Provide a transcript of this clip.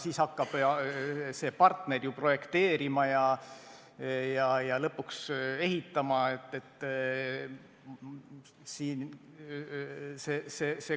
Siis hakkab see partner ju projekteerima ja lõpuks alles ehitama.